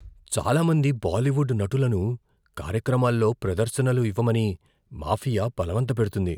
చాలా మంది బాలీవుడ్ నటులను కార్యక్రమాల్లో ప్రదర్శనలు ఇవ్వమని మాఫియా బలవంతపెడుతుంది.